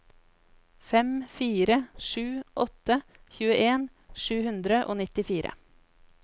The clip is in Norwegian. fem fire sju åtte tjueen sju hundre og nittifire